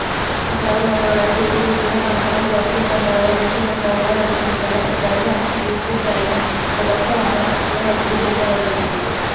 അസാധു നോട്ടുകളായി സൂക്ഷിച്ചിരിക്കുന്ന കള്ളപ്പണം പുറത്തുകൊണ്ടുവരാന് ലക്ഷ്യമിട്ടുള്ള വെളിപ്പെടുത്തല് പദ്ധതി സംബന്ധിച്ചു കഴിഞ്ഞ ദിവസമാണ് പാര്ലമെന്റില് ബില് അവതരിപ്പിച്ചത്